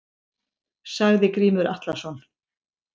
Sagði Grímur Atlason.